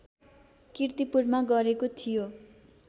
कीर्तिपुरमा गरेको थियो